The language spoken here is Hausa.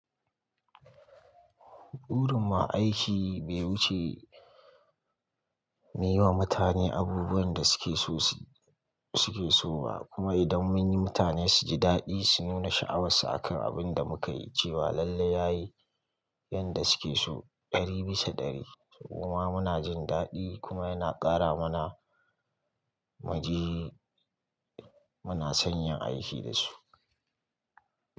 Burin ma aiki bai wuce yi wa mutane abubuwan da suke so ba, kuma idan mun yi mutane su ji daɗi su nuna sha'awarsu akan abin da muka yi, cewa lallai yayi yadda suke so ɗari bisa ɗari. Kuma muna jin daɗi kuma yana ƙara mana muna son yin aiki da su.